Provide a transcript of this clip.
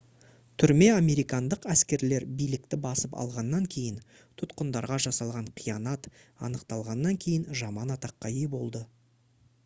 түрме американдық әскерлер билікті басып алғаннан кейін тұтқындарға жасалған қиянат анықталғаннан кейін жаман атаққа ие болды